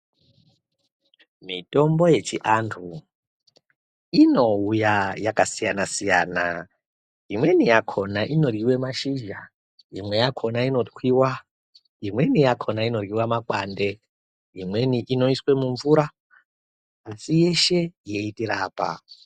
Mitombo yechiantu inouya yakasiyana-siyana imweni yakona inoryiwe mashizha imwe yakona inoryiwa imweni yakona inoryiwa makwande Imweni inoiswa mumvura asi yeshe yeitirapa.